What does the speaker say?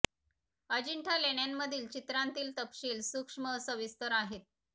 अजिंठा लेण्यांमधील चित्रांतील तपशील सूक्ष्म व सविस्तर आहेत